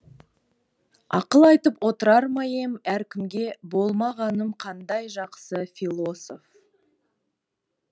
ақыл айтып отырар ма ем әркімге болмағаным қандай жақсы философ